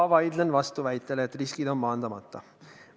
Ma vaidlen vastu väitele, et riskid on maandamata.